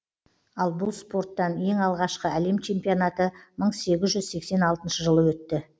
ал бұл спорттан ең алғашқы әлем чемпионаты мың сегіз жүз сексен алтыншы жылы өтті